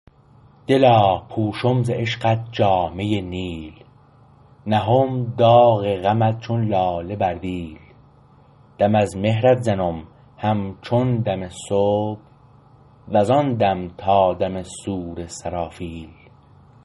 دلا پوشم ز عشقت جامه نیل نهم داغ غمت چون لاله بر دیل دم از مهرت زنم همچون دم صبح وز آن دم تا دم صور سرافیل